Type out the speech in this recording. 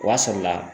O b'a sɔrɔla la